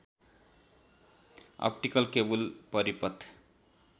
optical cable परिपथ